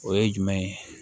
O ye jumɛn ye